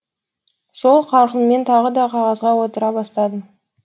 сол қарқынмен тағы да қағазға отыра бастадым